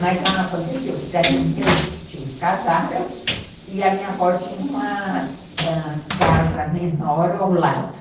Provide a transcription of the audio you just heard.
Mas aconteceu que daí meus tios casaram e a minha avó tinha uma ãh casa menor ao lado.